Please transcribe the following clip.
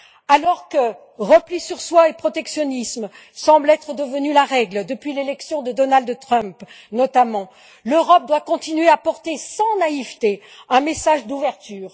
Alors que repli sur soi et protectionnisme semblent être devenus la règle depuis l'élection de Donald Trump, notamment, l'Europe doit continuer à porter, sans naïveté, un message d'ouverture.